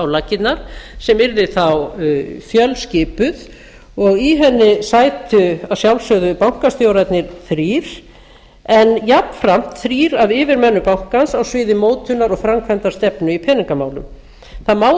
laggirnar sem yrði þá fjölskipuð og í henni sætu að sjálfsögðu bankastjórarnir þrír en jafnframt þrír af yfirmönnum bankans á sviði mótunar og framkvæmdastefnu í peningamálum það má